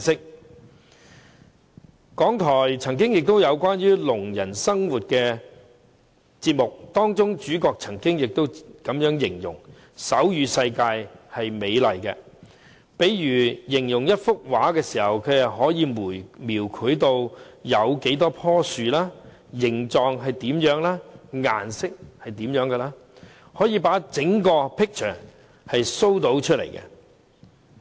香港電台曾經製作一個關於聾人生活的節目，當中的主角曾經這樣形容：手語世界是美麗的，例如形容一幅畫時，它可以描繪有多少棵樹，形狀是怎樣，顏色是怎樣，可以把整幅 picture show 出來。